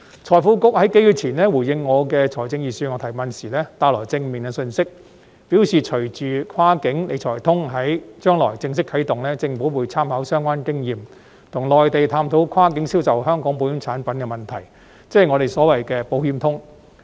財庫局數月前回應我有關財政預算案的提問時帶來正面的信息，表示隨着"跨境理財通"在將來正式啟動，政府會參考相關經驗，跟內地探討跨境銷售香港保險產品的問題，即我們所謂的"保險通"。